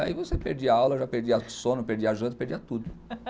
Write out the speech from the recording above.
Aí você perdia aula, já perdia sono, perdia janta, perdia tudo.